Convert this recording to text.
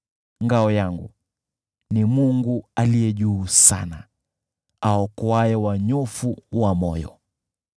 Ngao langu ni Mungu Aliye Juu Sana, awaokoaye wanyofu wa moyo.